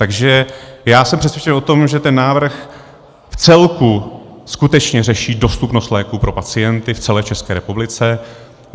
Takže já jsem přesvědčen o tom, že ten návrh v celku skutečně řeší dostupnost léků pro pacienty v celé České republice.